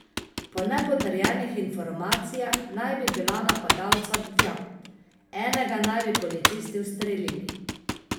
Po nepotrjenih informacijah naj bi bila napadalca dva, enega naj bi policisti ustrelili.